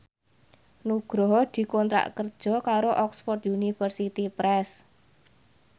Nugroho dikontrak kerja karo Oxford University Press